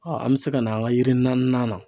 Aa an me se ka na an ka yiri naaninan na